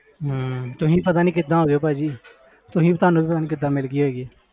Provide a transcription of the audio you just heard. ਹਮ ਤੁਸੀਂ ਪਤਾ ਨੀ ਕਿੱਦਾਂ ਹੋ ਗਏ ਭਾਜੀ ਤੁਸੀਂ ਤੁਹਾਨੂੰ ਵੀ ਪਤਾ ਨੀ ਕਿੱਦਾਂ ਮਿਲ ਗਈ ਹੈਗੀ।